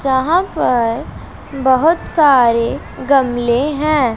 यहां पर बहोत सारे गमले हैं।